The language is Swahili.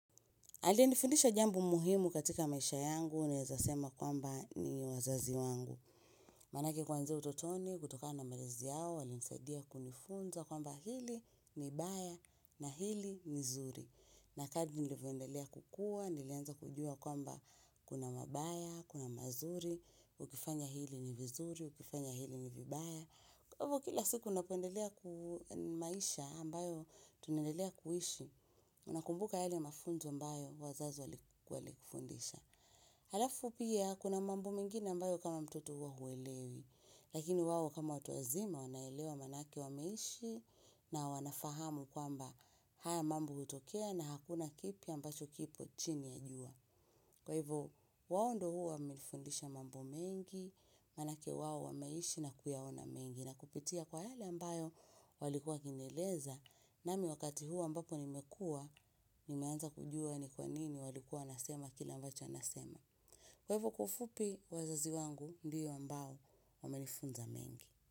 Aliyenifundisha jambo muhimu katika maisha yangu naezasema kwamba ni wazazi wangu. Manake kuanzia utotoni, kutoka na malezi yao, wali nisaidia kunifunza kwamba hili ni baya na hili ni zuri. Nakadi nilivoendelea kukua, nilieza kujua kwamba kuna mabaya, kuna mazuri, ukifanya hili ni vizuri, ukifanya hili ni vibaya. Kwa hivyo kila siku napendelea kumaisha ambayo tunaendelea kuishi, unakumbuka yale mafunzo ambayo wazazi wali kufundisha. Halafu pia kuna mambo mengine ambayo kama mtoto hua huwelewi, lakini wao kama watuwazima wanaelewa manake wa meishi na wanafahamu kwamba haya mambo utokea na hakuna kipi ambacho kipo chini ya jua. Kwa hivyo, wao ndo huwa milifundisha mambo mengi, manake wao wameishi na kuyaona mengi na kupitia kwa yale ambayo walikua wakinieleza na miwakati huu a mbapo nimekua, nimeanza kujua ni kwa nini walikua nasema kile ambacho nasema. Kwa hivyo, kwa ufupi wazazi wangu ndio ambao wamelifunza mengi.